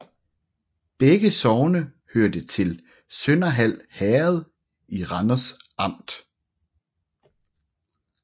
Begge sogne hørte til Sønderhald Herred i Randers Amt